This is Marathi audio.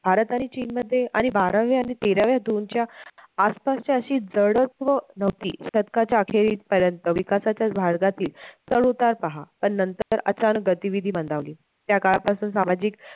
भारत आणि चीन मध्ये आणि बाराव्या आणि तेराव्या दोनच्या आसपासच्या अश्या जडत्व नव्हती शतकाच्या अखेरीस पर्यंत विकासाच्या तील चढउतार पहा पण नंतर अचानक गतिविधी मंदावली त्या काळापासून सामाजिक